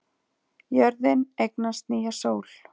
Jörðin eignast nýja sól